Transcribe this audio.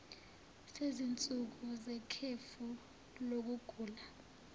sezinsuku zekhefu lokugula